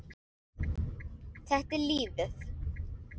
Þetta er lífið.